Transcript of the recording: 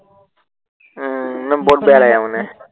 উম নহয় বহুত বেয়া লাগে মানে।